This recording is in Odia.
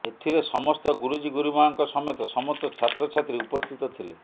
ଏଥିରେ ସମସ୍ତ ଗୁରୁଜି ଗୁରୁମାଙ୍କ ସମେତ ସମସ୍ତ ଛାତ୍ରଛାତ୍ରୀ ଉପସ୍ଥିତ ଥିଲେ